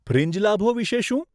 Fringe લાભો વિશે શું?